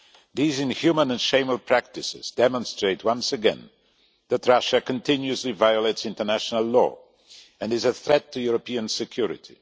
These inhuman and shameful practices demonstrate once again that Russia continuously violates international law and is a threat to European security.